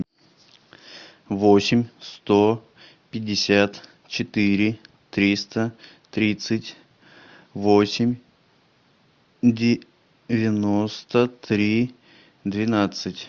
восемь сто пятьдесят четыре триста тридцать восемь девяносто три двенадцать